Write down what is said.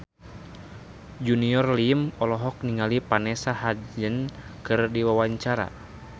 Junior Liem olohok ningali Vanessa Hudgens keur diwawancara